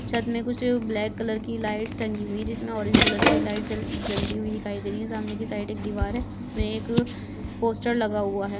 छत में कुछ ब्लैक कलर की लाइट्स टंगी हुई है जिसमे ऑरेंज कलर की लाइट् जल जलती हुई दिखाई दे रही है सामने के साइड एक दिवार है जिसमे एक पोस्टर लगा हुआ है।